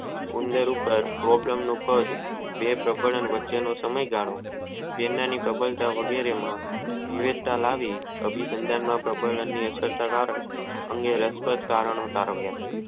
ઉંદર પાર ભોજન નું પદ જેમની પ્રબળતા વગેરે માં વિવેક તા લાવી અભિપ્રબંન અસરતા લાવી અને રસ મે પદ નું કારણ છે.